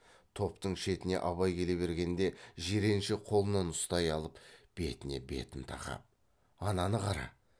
топтың шетіне абай келе бергенде жиренше қолынан ұстай алып бетіне бетін тақап ананы қара